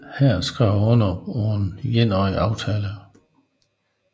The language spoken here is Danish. Her skrev han under på en etårig aftale